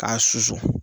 K'a susu